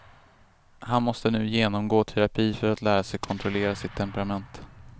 Han måste nu genomgå terapi för att lära sig kontrollera sitt temperament.